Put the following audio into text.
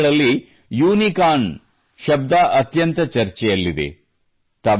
ಇಂದಿನ ದಿನಗಳಲ್ಲಿ ಯೂನಿಕಾರ್ನ್ ಶಬ್ದವು ಅತ್ಯಂತ ಚರ್ಚೆಯಲ್ಲಿದೆ